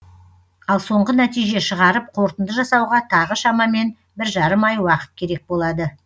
ал соңғы нәтиже шығарып қорытынды жасауға тағы шамамен бір жарым ай уақыт керек болады